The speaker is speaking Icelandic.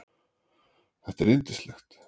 Þetta er yndislegt